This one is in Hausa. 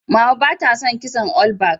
Mama ba ta son kitson olbak